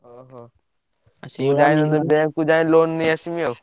ଓହୋ! bank କୁ ଯାଏ loan ନେଇଆସିବି ଆଉ।